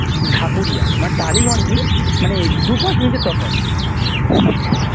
ঢাকুরিয়া মানে টালিগঞ্জেই মানে দু পাঁচ মিনিটের তফাৎ